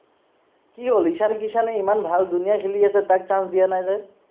কি হল ঈশান কিশ্য়ানে ইমান ভাল ধুনীয়া খেলি আছে তাক chance দিয়া নাই যে